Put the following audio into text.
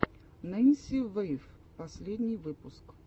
ненси вэйв последний выпуск